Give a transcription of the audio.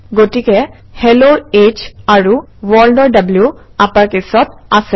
গতিকে Hello ৰ H আৰু World অৰ W আপাৰকেচত আছে